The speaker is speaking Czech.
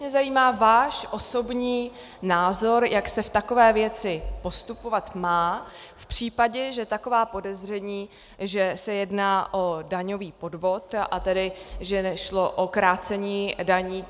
Mě zajímá váš osobní názor, jak se v takové věci postupovat má v případě, že taková podezření, že se jedná o daňový podvod, a tedy že šlo o krácení daní.